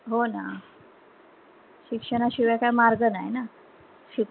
हो ना शिक्षणा शिवाय काई मार्ग नाही ना शिकू